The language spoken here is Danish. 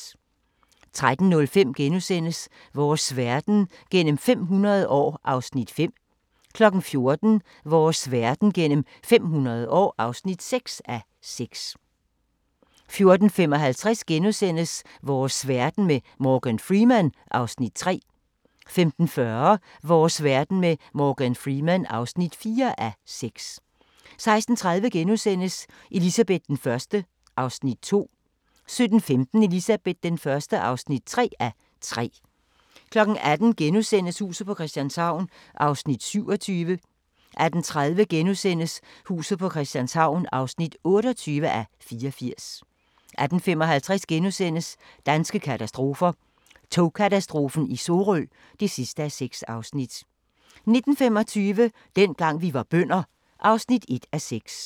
13:05: Vores verden gennem 500 år (5:6)* 14:00: Vores verden gennem 500 år (6:6) 14:55: Vores verden med Morgan Freeman (3:6)* 15:40: Vores verden med Morgan Freeman (4:6) 16:30: Elizabeth I (2:3)* 17:15: Elizabeth I (3:3) 18:00: Huset på Christianshavn (27:84)* 18:30: Huset på Christianshavn (28:84)* 18:55: Danske katastrofer – Togkatastrofen i Sorø (6:6)* 19:25: Dengang vi var bønder (1:6)